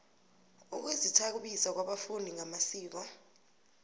ukuzithabisa kwabafundi ngamasiko